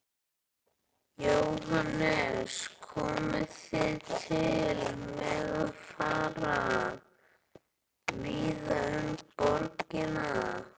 Jóhannes: Komið þið til með að fara víða um borgina?